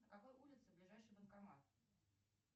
на какой улице ближайший банкомат